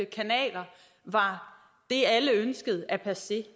kanaler var det alle ønskede er passé